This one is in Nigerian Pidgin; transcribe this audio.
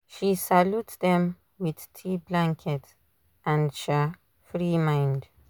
she salute them with tea blanket and um free mind